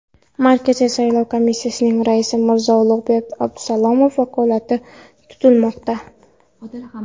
Markaziy saylov komissiyasining raisi Mirzo-Ulug‘bek Abdusalomov vakolati tugatilmoqda.